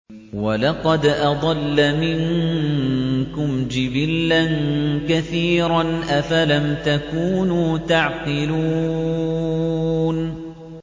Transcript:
وَلَقَدْ أَضَلَّ مِنكُمْ جِبِلًّا كَثِيرًا ۖ أَفَلَمْ تَكُونُوا تَعْقِلُونَ